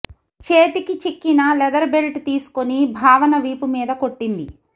చేతికి చిక్కిన leather belt తీసుకుని భావన వీపు మీద కొట్టింది